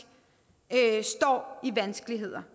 står i vanskeligheder